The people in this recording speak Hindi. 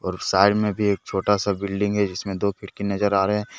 और साइड में भी एक छोटा सा बिल्डिंग जिसमें दो खिड़की नजर आ रहे--